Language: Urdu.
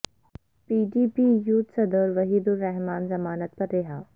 پی ڈی پی یوتھ صدر وحید الرحمان ضمانت پر رہا